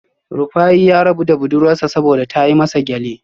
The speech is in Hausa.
Rufaye ya rabu da budurwar sa saboda ta yi masa gyale